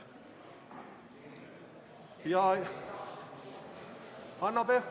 Hanno Pevkur, palun!